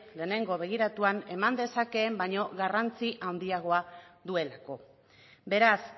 lehenengo begiratuan eman dezakeen baino garrantzi handiagoa duelako beraz